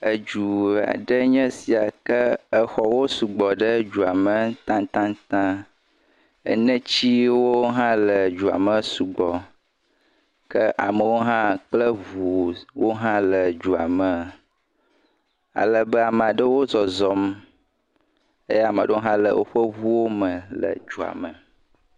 Edu aɖee nye esia. Ke exɔwo sugbɔ ɖe edua me taŋtaŋtaŋ. Enetsiwo hã le dua me sugbɔ. Ke amewo hã kple ŋuwo hã le dua me. alebe, ama ɖewo zɔzɔm eye ama ɖewo hã le woƒe ŋuwome le dua me.